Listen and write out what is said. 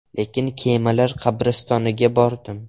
Lekin “Kemalar qabristoni”ga bordim.